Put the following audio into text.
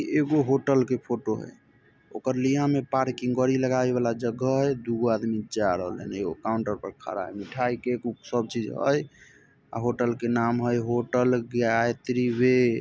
एगो होटल के फोटो है ओकर लिया में पार्किंग गाड़ी लगाय वाला जगह है दू गो आदमी जाय रहले हैन एगो काउंटर पर खड़ा है मिठाई के सब चीज है होटल के नाम है होटल गायत्री व--